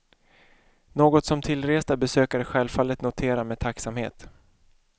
Något som tillresta besökare självfallet noterar med tacksamhet.